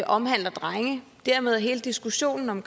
omhandler drenge dermed vil hele diskussionen om